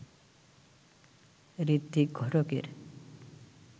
ঋত্বিক ঘটকের